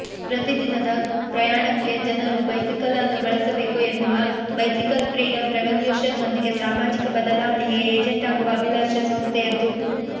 ಪ್ರತಿದಿನದ ಪ್ರಯಾಣಕ್ಕೆ ಜನರು ಬೈಸಿಕಲ್ಅನ್ನು ಬಳಸಬೇಕು ಎನ್ನುವ ಬೈಸಿಕಲ್ ಫ್ರೀಡಮ್ ರೆವಲ್ಯೂಷನ್ನೊಂದಿಗೆ ಸಾಮಾಜಿಕ ಬದಲಾವಣೆಯ ಏಜೆಂಟ್ ಆಗುವ ಅಭಿಲಾಷೆ ಸಂಸ್ಥೆಯದ್ದು